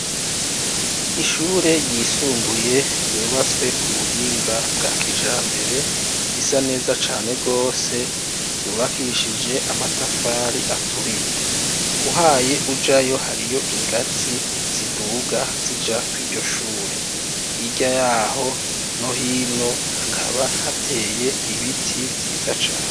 Ishure ryisumbuye yubatswe ku buhinga bwa kija mbere, risa neza cane rwose, ryubakishije amatafari aturiye, uhaye ujayo hariyo ingatzi ziduga zija ku ijyoshure, hija yaho no hino hakaba hateye ibiti vyiza cane.